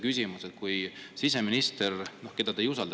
Küsimus on, et kui siseminister, keda te kindlasti ei usalda …